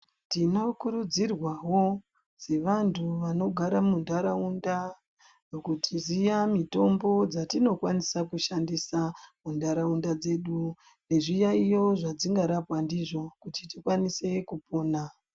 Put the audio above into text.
Tinokurudzirwawo sevantu vanogara muntaraunda kuziya mitombo dzatinokwanisa kushandisa muntaraunda dzedu nezviyaiyo dzezvingarapa ndizvo kuti tikwanise kupona.